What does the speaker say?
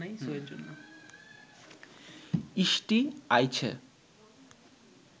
ইষ্টি আইছে